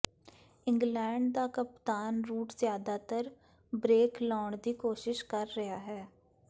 England ਦਾ ਕਪਤਾਨ Root ਜ਼ਿਆਦਾਤਰ ਬ੍ਰੇਕ ਲਾਉਣ ਦੀ ਕੋਸ਼ਿਸ਼ ਕਰ ਰਿਹਾ ਹੈ